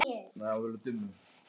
Kannski er deildin veikari?